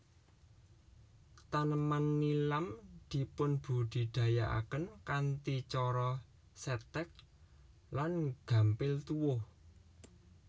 Taneman nilam dipunbudidayakaken kanthi cara Setèk lan gampil tuwuh